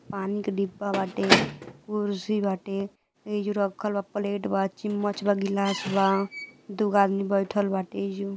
पानी का डिब्बा बाटे कुर्सी बाटे एजो रखल बा प्लेट बा चिम्मच बा गिलास बा दुगो आदमी बईठल बाटे एजू।